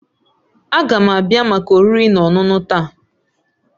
Ága m abịa maka oriri na ọṅụṅụ taa